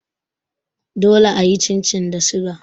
Dole a yi chin chin da suga.